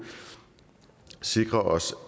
sikre os